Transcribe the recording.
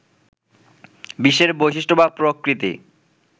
বিশ্বের বৈশিষ্ট্য বা প্রকৃতি